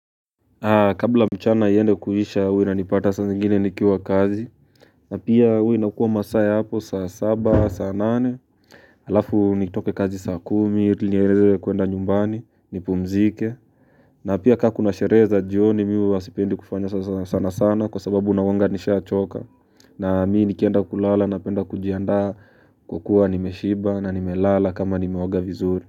Kabla mchana iende kuisha huwa inanipata saa zingine nikiwa kazi na pia huwa inakuwa kuwa masaa ya hapo saa saba, saa nane Alafu nitoke kazi saa kumi, ili niendelee kuenda nyumbani, nipumzike na pia ka kuna sherehe za jioni mi huwa sipendi kufanya sana sana kwa sababu nakuwanga nishachoka na mi nikienda kulala napenda kujiandaa kukuwa nimeshiba na nimelala kama nimeoga vizuri.